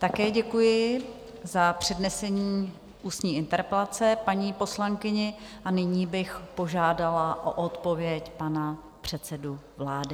Také děkuji za přednesení ústní interpelaci paní poslankyni a nyní bych požádala o odpověď pana předsedu vlády.